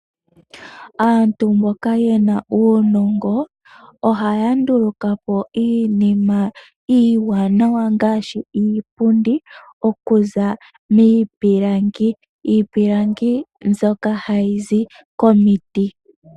Aantu mboka yena uunongo ohaya ndulukapo iinima iiwanawa ngaashi iipundi okuza miipilangi. Iipilangi mbyoka hayi zi komiti